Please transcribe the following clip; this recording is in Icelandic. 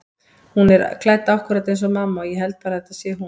Hún er klædd akkúrat eins og mamma og ég held bara að þetta sé hún.